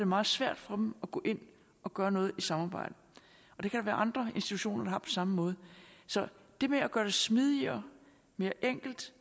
meget svært for dem at gå ind og gøre noget i samarbejde der kan være andre institutioner der samme måde så det med at gøre det smidigere mere enkelt